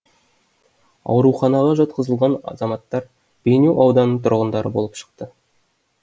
ауруханаға жатқызылған азаматтар бейнеу ауданының тұрғындары болып шықты